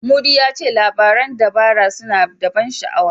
Mudi ya ce labaran dabara suna da ban sha'awa.